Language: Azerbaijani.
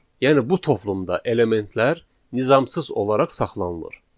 Yəni bu toplumda elementlər nizamsız olaraq saxlanılır.